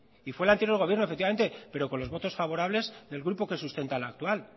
y fue el anterior gobierno efectivamente pero con los votos favorables del grupo que sustenta al actual